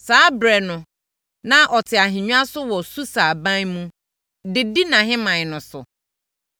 Saa ɛberɛ no na ɔte ahennwa so wɔ Susa aban mu de di nʼahemman no so.